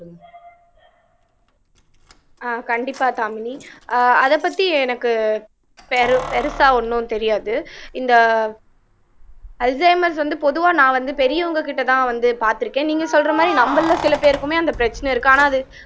அஹ் கண்டிப்பா தாமினி ஆஹ் அதை பத்தி எனக்கு பெரு பெருசா ஒண்ணும் தெரியாது இந்த அல்சைமர்ஸ் வந்து பொதுவா நான் வந்து பெரியவங்ககிட்டதான் வந்து பார்த்திருக்கேன் நீங்க சொல்ற மாதிரி நம்மள்ல சில பேருக்குமே அந்த பிரச்சனை இருக்கு ஆனா அது